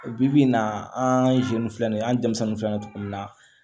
Bi bi in na an ka filɛ nin ye an ye denmisɛnninw fɛnɛ ye togo min na